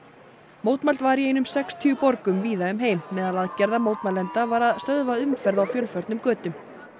mótmælt var í einum sextíu borgum víða um heim meðal aðgerða mótmælenda var að stöða umferð á fjölförnum götum